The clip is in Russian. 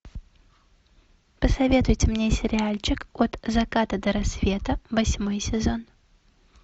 посоветуйте мне сериальчик от заката до рассвета восьмой сезон